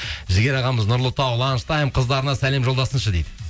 жігер ағамыз нұрлытау қыздарына сәлем жолдасыншы дейді